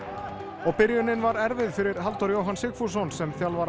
og byrjunin var erfið fyrir Halldór Jóhann Sigfússon sem þjálfara